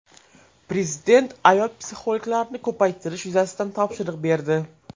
Prezident ayol psixologlarni ko‘paytirish yuzasidan topshiriq berdi.